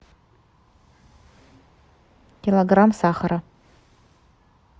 килограмм сахара